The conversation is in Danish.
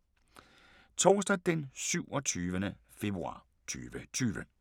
Torsdag d. 27. februar 2020